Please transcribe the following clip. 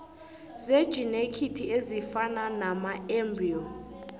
zejinethiki ezifana namaembriyo